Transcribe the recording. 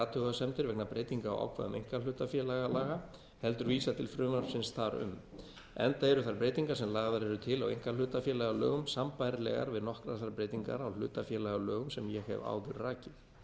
athugasemdir vegna breytingar á ákvæðum einkahlutafélagalaga heldur vísa til frumvarpsins þar um enda eru þær breytingar sem lagðar eru til á einkahlutafélagalögum sambærilegar við nokkrar þær breytingar á hlutafélagalögum sem ég hef áður rakið